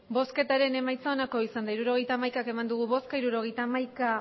hirurogeita hamaika eman dugu bozka hirurogeita hamaika